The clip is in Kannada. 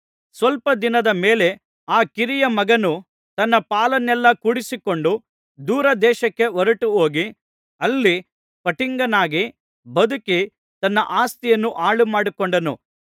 ಸ್ವಲ್ಪ ದಿನದ ಮೇಲೆ ಆ ಕಿರಿಯ ಮಗನು ತನ್ನ ಪಾಲನ್ನೆಲ್ಲಾ ಕೂಡಿಸಿಕೊಂಡು ದೂರದೇಶಕ್ಕೆ ಹೊರಟುಹೋಗಿ ಅಲ್ಲಿ ಪಟಿಂಗನಾಗಿ ಬದುಕಿ ತನ್ನ ಆಸ್ತಿಯನ್ನು ಹಾಳುಮಾಡಿಕೊಂಡನು